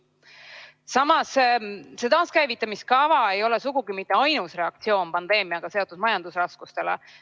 Samas, see taaskäivitamise kava ei ole sugugi mitte ainus reaktsioon pandeemiaga seotud majandusraskustele.